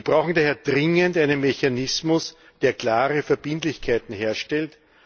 Wir brauchen daher dringend einen Mechanismus, der klare Verbindlichkeiten herstellt.